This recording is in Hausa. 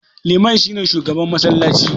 Liman shi ne shugaban massalaci.